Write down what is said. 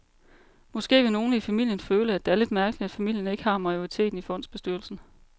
Måske vil nogle i familien føle, at det er lidt mærkeligt, at familien ikke har majoriteten i fondsbestyrelsen.